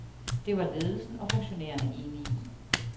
Det var ledelsen og funktionærerne enige i.